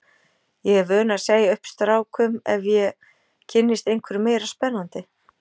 Ég er vön að segja upp strákum ef ég kynnist einhverjum meira spennandi.